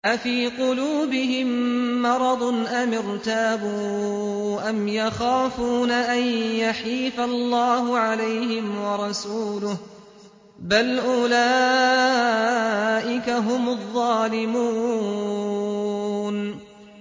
أَفِي قُلُوبِهِم مَّرَضٌ أَمِ ارْتَابُوا أَمْ يَخَافُونَ أَن يَحِيفَ اللَّهُ عَلَيْهِمْ وَرَسُولُهُ ۚ بَلْ أُولَٰئِكَ هُمُ الظَّالِمُونَ